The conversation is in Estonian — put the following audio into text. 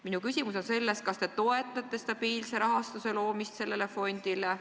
Minu küsimus on: kas te toetate stabiilse rahastuse tagamist sellele fondile?